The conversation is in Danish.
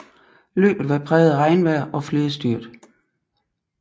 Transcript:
Løbet var præget af regnvejr og flere styrt